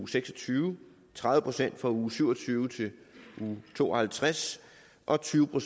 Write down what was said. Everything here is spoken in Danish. seks og tyve tredive procent fra uge syv og tyve til uge to og halvtreds og tyve